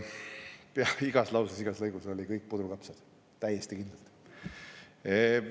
Pea igas lauses, igas lõigus oli kõik puder ja kapsad, täiesti kindlalt.